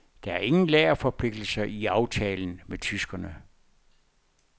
Der er ingen lagerforpligtelser i aftalen med tyskerne.